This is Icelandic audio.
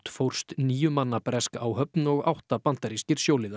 fórst níu manna bresk áhöfn og átta bandarískir